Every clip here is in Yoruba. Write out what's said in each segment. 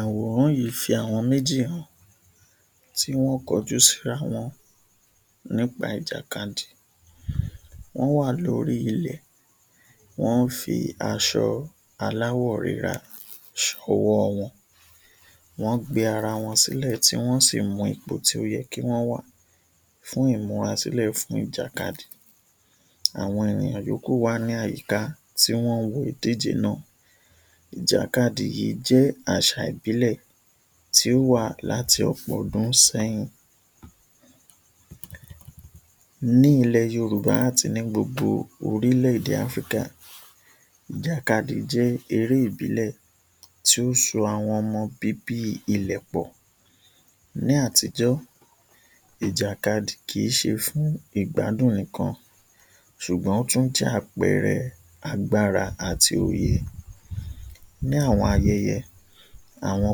Àwòrán yìí fi àwọn méjì hàn tí wọ́n kọjú síra wọn nípa ìjàkadì. Wọ́n wà lórí ilẹ̀, wọ́n fi aṣọ aláwọ̀ rírà sọ́wọ́ wọn. Wọ́n gbé ara wọn sílẹ̀, tí wọ́n sì mú ipò tí ó yẹ kí wọ́n wà fún ìmúra sílẹ̀ fún ìjàkadì. Àwọn ènìyàn yòókù wà ní àyíká, tí wọ́n ń wo ìdíje náà. Ìjàkadì yìí jẹ́ aṣa ìbílẹ̀ tí ó wà láti ọ̀pọ̀ ọdún sẹ́yìn. Ní ilẹ̀ Yorùbá àti ní gbogbo orílẹ̀ ẹ̀dè (Africa), ìjàkadì jẹ́ eré ìbílẹ̀ tí ó so àwọn ọmọ bíbí ilẹ̀ pọ̀. Ní àtijọ́, ìjàkadì kìí ṣe fún ìgbádùn nìkan, ṣùgbọ́n ó tún jẹ́ àpẹẹrẹ agbára àti òye. Ní àwọn ayẹyẹ, àwọn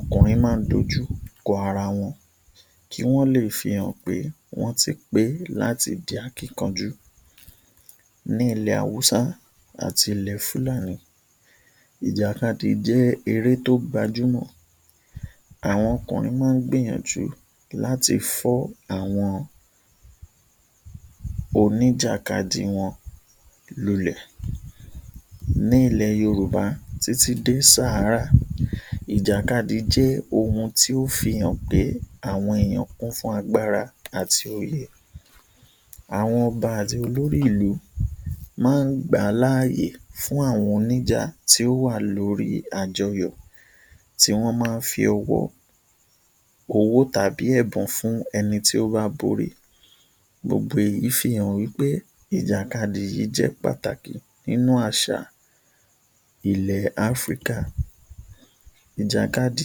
ọkùnrin má ń dojú kọ ara wọn, kí wọ́n le fi hàn pé wọ́n ti pé láti di akínkanjú. Ní ilẹ̀ Awúsá àti ilẹ̀ Fúlànì, ìjàkadì jẹ́ eré tó gbajúmọ̀. Àwọn ọkùnrin máa ń gbìyànjú láti fọ́ àwọn oníjàkadì wọn lulẹ̀. Ní ilẹ̀ Yorùba títí dé (Sahara), ìjàkadì jẹ́ ohun tí ó fi hàn pé àwọn èèyàn kún fún agbára àti òye. Àwọn ọba àti olórí ìlú máa ń gbà á l’áye fún àwọn oníjà tí ó wà lórí àjọyọ̀, tí wọ́n máa ń fi owó tàbí ẹ̀bùn fún ẹni tí ó bá borí. Gbogbo èyí fi han wí pé ìjàkadì yìí jẹ́ ohun pàtàkì nínú àṣà ilẹ̀ (Africa). Ìjàkadì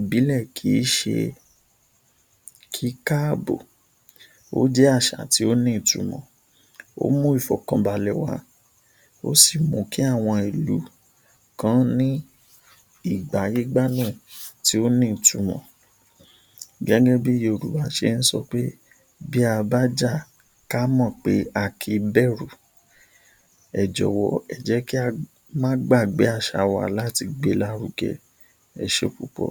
ìbílẹ̀ kìí ṣe kíkàbò, ó jẹ́ àṣà tí ó ní ìtumọ̀. Ó mú ìfọ̀kànbalẹ̀ wá, ó sì mú kí àwọn ilù kan ní ìgbáyégbádùn tí ó ní ìtumọ̀ gẹ́gẹ́ bí Yorùbá ṣe ń sọ pé, ‘Bí a bá jà, ká mọ̀ pé a kìí bẹ̀rù’. Ẹ jọ̀wọ́, ẹ jẹ́ kí á má gbàgbé àṣà wa láti gbé e lárugẹ. Ẹṣé púpọ̀.